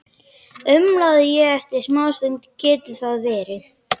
umlaði ég eftir smástund: Getur það verið?